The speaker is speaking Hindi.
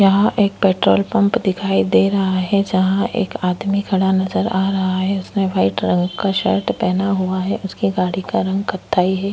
यहाँ एक पेट्रोल पंप दिखाई दे रहा है जहाँ एक आदमी खड़ा नज़र आ रहा है उसने वाइट रंग का शर्ट पहना हुआ है उसके गाड़ी का रंग कत्थायी है।